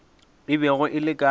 e bego e le ka